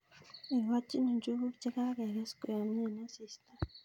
Igochi njuguk che kakeges koyomyo eng' asista